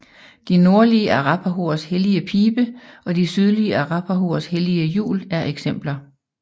De nordlige arapahoers hellige pibe og de sydlige arapahoers hellige hjul er eksempler